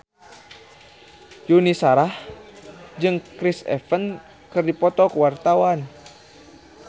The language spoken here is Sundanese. Yuni Shara jeung Chris Evans keur dipoto ku wartawan